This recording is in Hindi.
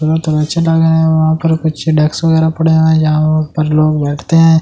यहा काऊच बना हुआ है यहा पर कुछ डेस्क पड़े हुए है जहा पर लोग बेठते है।